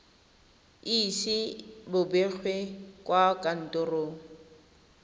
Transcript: ise bo begwe kwa kantorong